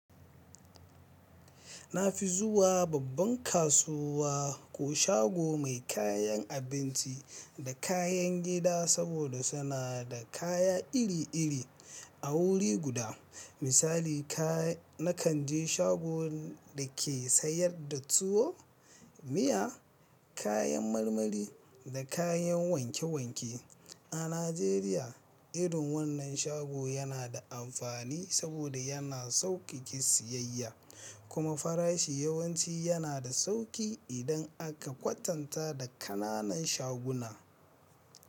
Na fi zuwa babban kasuwa ko shago mai kayan abinci da kayan gida saboda suna da kaya iri-iri a wuri guda. Misali, ka na kan je shago da ke sayar da tuwo, miya, kayan marmari da kayan wanke wanke. A Najeriya, irin wannan shago yana da amfani saboda yana sauƙiƙe siyayya, kuma farashi yawanci yana da sauƙi idan aka kwatanta da ƙananan shaguna.